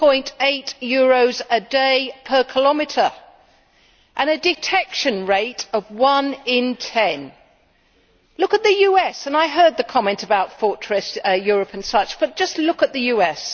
2.8 a day per kilometre and a detection rate of one in ten. Look at the US, and I heard the comment about fortress Europe and such, but just look at the US.